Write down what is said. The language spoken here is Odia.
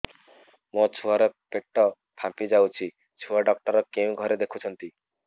ମୋ ଛୁଆ ର ପେଟ ଫାମ୍ପି ଯାଉଛି ଛୁଆ ଡକ୍ଟର କେଉଁ ଘରେ ଦେଖୁ ଛନ୍ତି